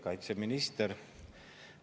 Kaitseminister!